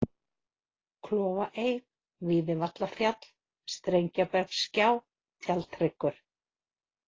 Klofaey, Víðivallafjall, Strengjabergsgjá, Tjaldhryggur